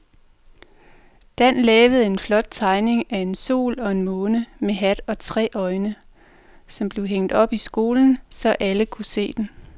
Dan havde lavet en flot tegning af en sol og en måne med hat og tre øjne, som blev hængt op i skolen, så alle kunne se den.